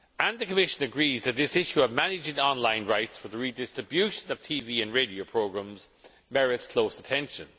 The Commission agrees that the issue of managing online rights for the redistribution of TV and radio programmes merits close attention.